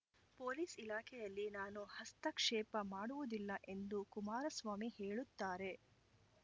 police ಇಲಾಖೆಯಲ್ಲಿ ನಾನು ಹಸ್ತಕ್ಷೇಪ ಮಾಡುವುದಿಲ್ಲ ಎಂದು ಕುಮಾರಸ್ವಾಮಿ ಹೇಳುತ್ತಾರೆ